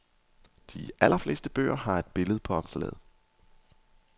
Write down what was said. De allerfleste bøger har et billede på omslaget.